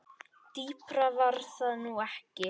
Dýpra var það nú ekki.